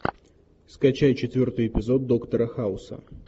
скачай четвертый эпизод доктора хауса